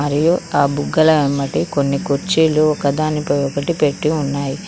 మరియు ఆ బుగ్గల అమ్మటి కొన్ని కుర్చీలు ఒకదానిపై ఒకటి పెట్టి ఉన్నాయి.